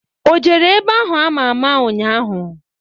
O jere ebe ahụ ama ama ụnyaahụ?